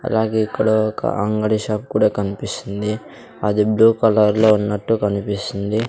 అలాగే ఇక్కడ ఒక అంగడి షాప్ కూడా కన్పిస్తుంది అది బ్లూ కలర్ లో ఉన్నట్టు కన్పిస్తుంది.